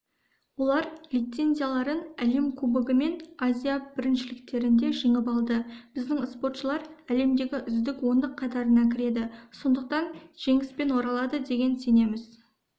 олар лицензияларын әлем кубогы мен азия біріншіліктерінде жеңіп алды біздің споршылар әлемдегі үздік ондық қатарына кіреді сондықтан жеңіспен оралады деген сенеміз